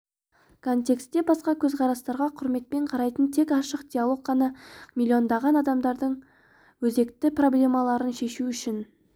контексте басқа көзқарастарға құрметпен қарайтын тек ашық диалог қана миллиондаған адамдардың өзекті проблемаларын шешу үшін